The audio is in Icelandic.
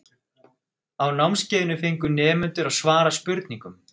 á námskeiðinu fengu nemendur að svara spurningum